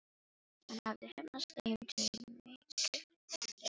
Hún hafði heppnast þeim til mikillar gleði.